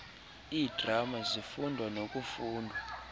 iidrama zifundwa nokufundwa